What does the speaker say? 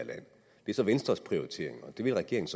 så venstres prioritering og det vil regeringen